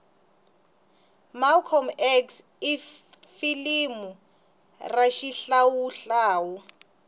malcolm x ifilimu rashihlawuhlawu